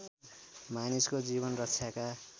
मानिसको जीवन रक्षाका